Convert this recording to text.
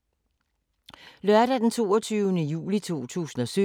Lørdag d. 22. juli 2017